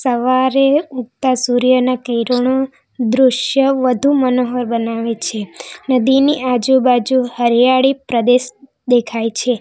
સવારે ઉગતા સૂર્યના કિરણો દૃશ્ય વધુ મનોહર બનાવે છે નદીની આજુબાજુ હરિયાળી પ્રદેશ દેખાય છે.